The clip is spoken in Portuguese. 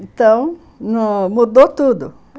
Então, no...mudou tudo.